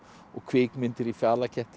kvikmyndir í